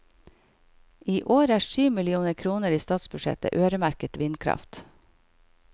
I år er syv millioner kroner i statsbudsjettet øremerket vindkraft.